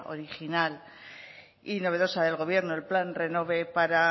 original y novedosa del gobierno el plan renove para